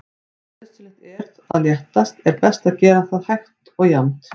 Ef nauðsynlegt er að léttast er best að gera það hægt og jafnt.